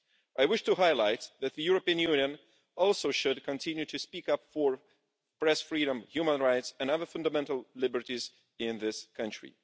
I wish to highlight that the European Union also should continue to speak up for press freedom, human rights and other fundamental liberties in this country.